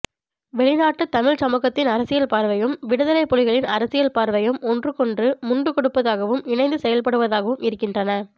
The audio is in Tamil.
வெளிநாட்டு தமிழ்ச் சமூகத்தின் அரசியல் பார்வையும் விடுதலை புலிகளின் அரசியல் பார்வையும் ஒன்றுக்கொன்று முண்டு கொடுப்பதாகவும் இணைந்து செயல்படுவதாகவும் இருக்கின்றன